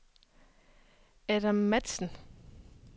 Adam Matzen